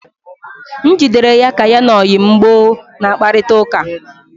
M jidere ya ka ya na oyi m gboo na kparịta ụka